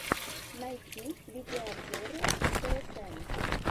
найти видеообзоры тсн